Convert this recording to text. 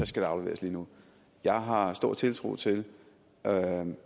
skal afleveres lige nu jeg har stor tiltro til